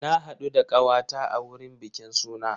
Na haɗu da ƙawa ta a wurin bikin suna.